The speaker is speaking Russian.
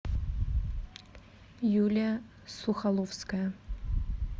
юлия сухоловская